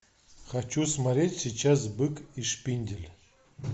хочу смотреть сейчас бык и шпиндель